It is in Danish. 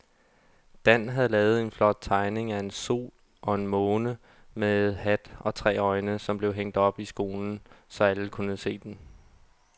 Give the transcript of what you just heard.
Dan havde lavet en flot tegning af en sol og en måne med hat og tre øjne, som blev hængt op i skolen, så alle kunne se den.